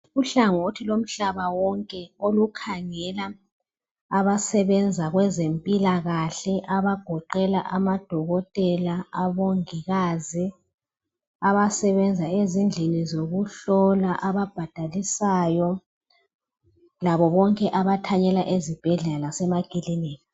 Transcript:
uhlangothi lomhaba wonke olikhangela abasebenza kwezempilakahle abagoqela amadokotela abomongikazi abasebenza ezindlini zokuhlola ababhadalisayo labo boke abathanyela ezibhedlela lamaklinika